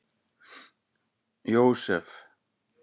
Jósef